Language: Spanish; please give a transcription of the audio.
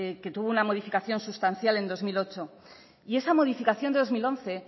que tuvo una modificación sustancial en dos mil ocho y esa modificación del dos mil once